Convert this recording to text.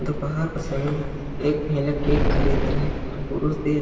दोपहर का समय एक महिला केक खरीद रहे और पुरुष दे --